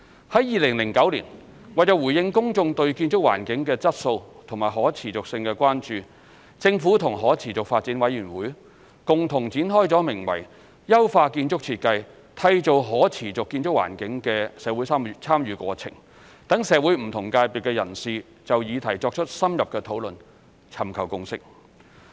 於2009年，為回應公眾對建築環境的質素和可持續性的關注，政府與可持續發展委員會共同展開了名為"優化建築設計締造可持續建築環境"的社會參與過程，讓社會不同界別人士就議題作出深入討論、尋求共識。